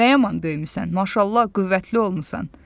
Nə yaman böyümüsən, maşallah, qüvvətli olmusan!